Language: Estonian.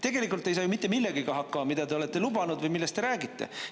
Tegelikult te ei saa ju mitte millegagi hakkama, mida te olete lubanud või millest te räägite.